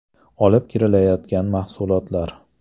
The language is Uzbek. olib kirilayotgan mahsulotlar.